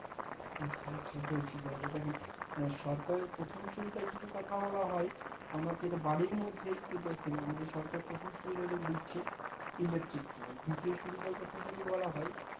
আচ্ছা আচ্ছা বলছি তাহলে দেখেন সরকারের প্রথম সুবিধা যদি কথা বলা হয় আমাদের বাড়ির মধ্যে তো দেখেন আমাদের সরকার প্রথম সুবিধা দিচ্ছে electric তা দ্বিতীয় সুবিধের কথা যদি বলা হয়